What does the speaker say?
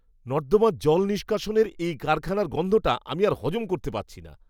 নর্দমার জল নিষ্কাশনের এই কারখানার গন্ধটা আমি আর হজম করতে পারছি না!